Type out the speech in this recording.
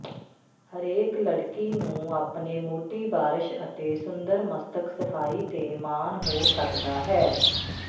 ਹਰੇਕ ਲੜਕੀ ਨੂੰ ਆਪਣੇ ਮੋਟੀ ਬਾਰਸ਼ ਅਤੇ ਸੁੰਦਰ ਮਸਤਕ ਸਫ਼ਾਈ ਤੇ ਮਾਣ ਹੋ ਸਕਦਾ ਹੈ